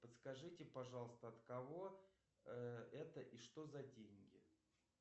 подскажите пожалуйста от кого это и что за деньги